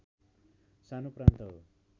सानो प्रान्त हो